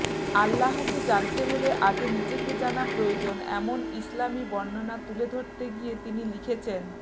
আল্লাহকে জানতে হলে আগে নিজেকে জানা প্রয়োজন এমন ইসলামী বর্ণনা তুলে ধরতে গিয়ে তিনি লিখেছেনঃ